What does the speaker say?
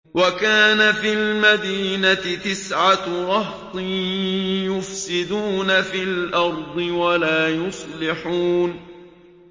وَكَانَ فِي الْمَدِينَةِ تِسْعَةُ رَهْطٍ يُفْسِدُونَ فِي الْأَرْضِ وَلَا يُصْلِحُونَ